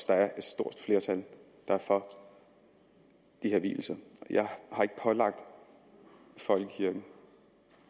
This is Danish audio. der er et stort flertal for de her vielser jeg har ikke pålagt folkekirken